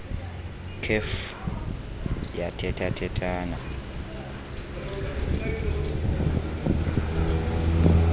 kef yathetha thethana